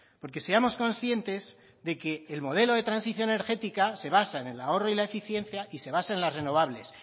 porque seamos conscientes de que el modelo de transición energética se basa en el ahorro y la eficiencia y se basa en las renovables